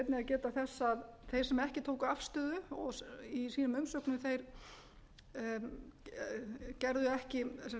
geta að þeir sem ekki tóku afstöðu í sínum umsögnum gerðu ekki